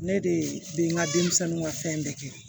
Ne de bɛ n ka denmisɛnninw ka fɛn bɛɛ kɛ